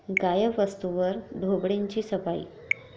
गायब वस्तूंवर ढोबळेंची 'सफाई'